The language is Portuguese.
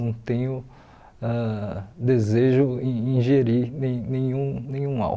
Não tenho ãh desejo em ingerir nem nenhum nenhum álcool.